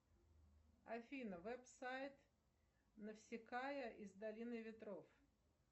афина веб сайт навсекая из долины ветров